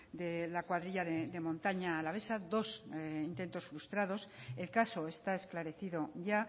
de la cuadrilla de montaña alavesa dos intentos frustrados el caso está esclarecido ya